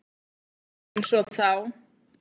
Einsog þá.